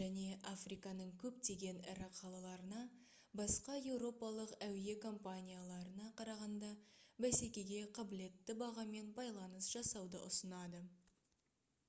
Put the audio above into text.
және африканың көптеген ірі қалаларына басқа еуропалық әуе компанияларына қарағанда бәсекеге қабілетті бағамен байланыс жасауды ұсынады